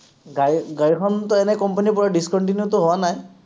গাড়ী, গাড়ীখনটো এনেই company ৰ পৰা discontinue টো হোৱা নাই?